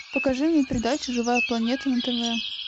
покажи мне передачу живая планета на тв